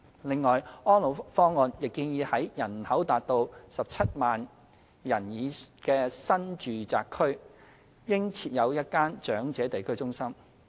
另外，《安老方案》亦建議在人口達 170,000 人的新住宅區應設有一間長者地區中心。